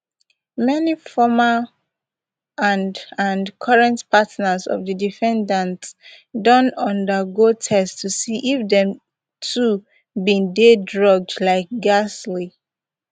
many former and and current partners of di defendants don undergo tests to see if dem too bin dey drugged like gisle